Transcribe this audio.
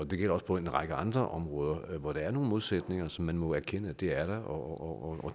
det gælder også på en række andre områder hvor der er nogle modsætninger som man må erkende er der og